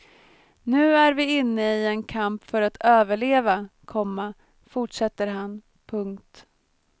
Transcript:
Nu är vi inne i en kamp för att överleva, komma fortsätter han. punkt